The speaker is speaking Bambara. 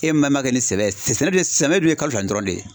E man man kɛ ni sɛbɛ ye sɛnɛ dun ye sɛbɛ dun ye kalo fila ni dɔɔni de ye.